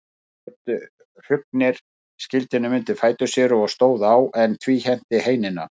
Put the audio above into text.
Þá skaut Hrungnir skildinum undir fætur sér og stóð á, en tvíhenti heinina.